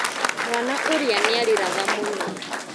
Mwana ũrĩa nĩarĩraga mũno.